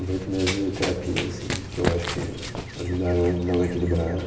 Uns oito meses de terapia, assim, que eu acho que ajudaram a dar uma equilibrada.